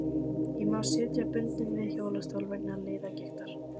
Ég má sitja bundinn við hjólastól vegna liðagiktar.